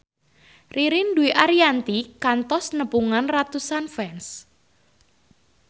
Ririn Dwi Ariyanti kantos nepungan ratusan fans